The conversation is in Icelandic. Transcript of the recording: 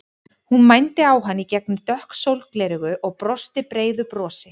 Hún mændi á hann í gegnum dökk sólgleraugu og brosti breiðu brosi.